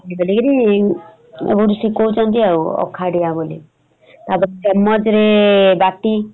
ବୁଲିକିରି ଆଉ ବୋଧେ ଶିଖଉଛନ୍ତି ଆଉ ଅଖା ଡିଆଁ ବୋଲି । ତାପରେ ଚେମଚରେ ବାଟି ।